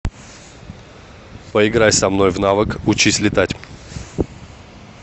поиграй со мной в навык учись летать